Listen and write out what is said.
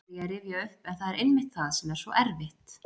Þá fer ég að rifja upp en það er einmitt það sem er svo erfitt.